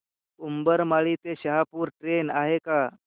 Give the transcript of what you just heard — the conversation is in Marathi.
उंबरमाळी ते शहापूर ट्रेन आहे का